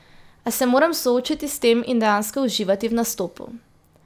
A se moram soočiti s tem in dejansko uživati v nastopu.